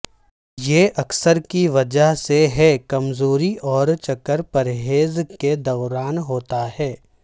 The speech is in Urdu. یہ اکثر کی وجہ سے ہے کمزوری اور چکر پرہیز کے دوران ہوتا ہے